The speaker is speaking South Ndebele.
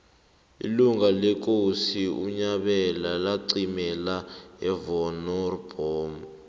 ilanga lekosi unyabela laqimela evonoribnomu